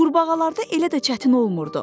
Qurbağalarda elə də çətin olmurdu.